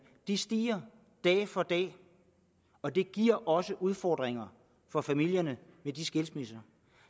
stiger dag for dag og det giver også udfordringer for familierne med de skilsmisser